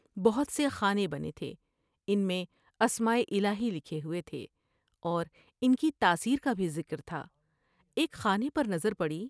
بہت سے خانے بنے تھے ، ان میں اسمائے الہی لکھے ہوئے تھے اور ان کی تاثیر کا بھی ذکر تھا ، ایک خانے پر نظر پڑی ۔